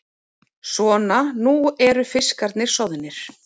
Svona, nú eru fiskarnir soðnir.